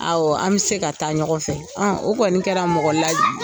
Awɔ. An bɛ se ka taa ɲɔgɔn fɛ. O kɔni kɛra mɔgɔ la